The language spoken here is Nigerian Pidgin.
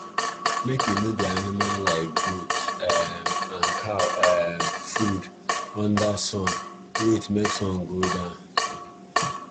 make u no dey animal like goat um and cow um food under sun wait make sun go down